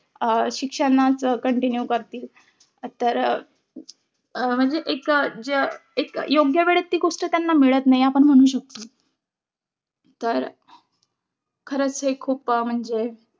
अं शिक्षणाचं continue करतील. तर अं म्हणजे एक एक योग्य वेळेस ती गोष्ट त्यांना मिळत नाही. आपण म्हणू शकतो. तर खरचं हे खूप म्हणजे,